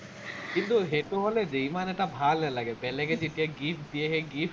কিন্তু, সেইটো হলে দেই ইমান এটা ভাল নালাগে, বেলেগে যেতিয়া gift দিয়ে, সেই gift